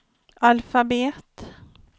alfabet